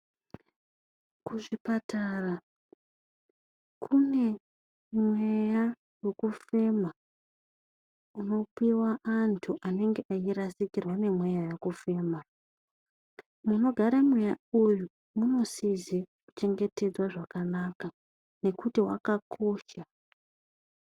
Kuzvipatara kune mweya wekufema unopuwa antu anenge eyirasikirwa ngemweya wekufema. Munogara mweya uyu munosise kuchengetedzwa zvakanaka nokuti wakakosha.